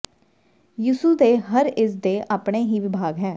ਯਿਸੂ ਦੇ ਹਰ ਇਸ ਦੇ ਆਪਣੇ ਹੀ ਵਿਭਾਗ ਹੈ